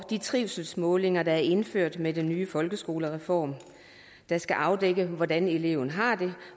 de trivselsmålinger der er indført med den nye folkeskolereform der skal afdække hvordan eleven har det